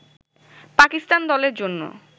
পাকিস্তান দলের জন্য